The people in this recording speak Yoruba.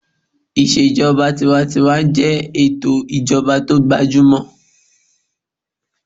Ìṣèjọba tinwatinwa jẹ́ ètò ìjọba tó gbajúmọ̀